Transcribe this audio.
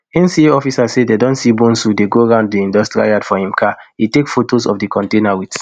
nca officers say dem see bonsu dey go round di industrial yard for im car e take fotos of di container wit